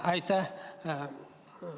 Aitäh!